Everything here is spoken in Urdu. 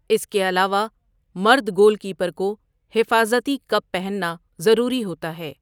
اس کے علاوہ مرد گول کیپر کو حفاظتی کپ پہننا ضروری ہوتا ہے۔